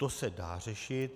To se dá řešit.